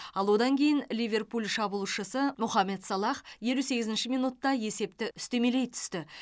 ал одан кейін ливерпуль шабуылшысы мохамед салах елу сегізінші минутта есепті үстемелей түсті